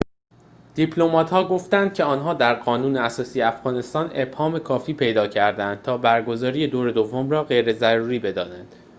دیپلمات‌ها گفتند که آنها در قانون اساسی افغانستان ابهام کافی پیدا کرده‌اند تا برگزاری دور دوم را غیر ضروری بدانند